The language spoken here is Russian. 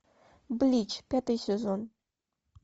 блич пятый сезон